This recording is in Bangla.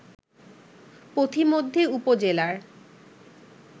পথিমধ্যে উপজেলার